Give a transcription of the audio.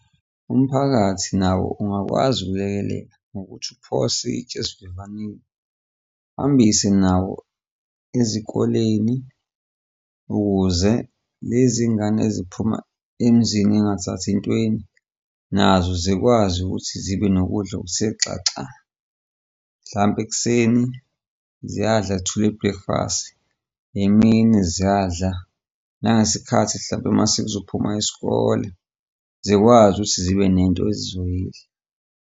Umphakathi nawo ungakwazi ukulekelela ngokuthi uphose itshe esivivaneni angithi nawo ezikoleni ukuze lezi ngane eziphuma emzini ey'ngathathi ntweni, nazo zikwazi ukuthi zibe nokudla ukuthe xaxa hlampe ekuseni ziyadla two ye-breakfast, emini ziyadla nangesikhathi mhlampe mase kuzophuma isikole, zikwazi ukuthi zibe nento ezizoyidla.